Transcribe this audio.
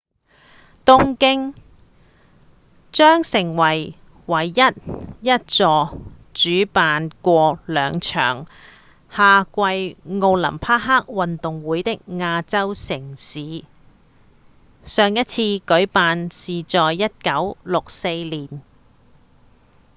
東京將成為唯一一座主辦過兩場夏季奧林匹克運動會的亞洲城市上一次舉辦是在1964年